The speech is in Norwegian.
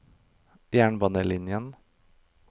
jernbanelinjen